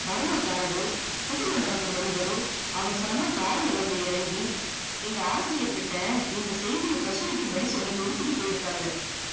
cinema காரரு, புது மண்டபத்து மனிதரு, அவசரமா car ல வந்து இறங்கி, எங்க ஆசிரியர்கிட்ட இந்த செய்திய பிரிசவிக்கும்படி சொல்லி கொடுத்திட்டு போயிருக்காங்க.